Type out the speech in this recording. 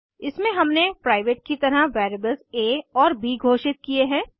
इसमें हमने प्राइवेट की तरह वेरिएबल्स आ और ब घोषित किये हैं